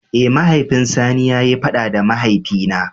Eh, mahaifin sani ya yi fada da mahaifi na.